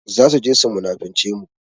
Za su je su munafince mu.